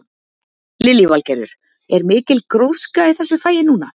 Lillý Valgerður: Er mikil gróska í þessu fagi núna?